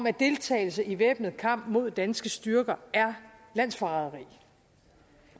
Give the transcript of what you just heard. at deltagelse i væbnet kamp mod danske styrker er landsforræderi